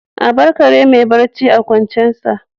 A bar kare mai barci a kwancensa